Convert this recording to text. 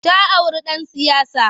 Ta auri ɗan siyasa.